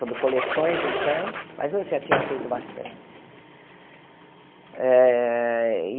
Sobre coleções, então, mas eu já tinha feito bastante.